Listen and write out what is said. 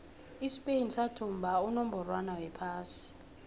ispain sathumba unongorwond wephasi